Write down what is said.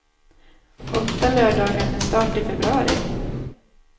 Åtta lördagar med start i februari.